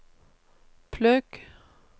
plugg